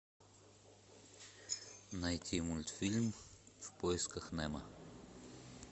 найти мультфильм в поисках немо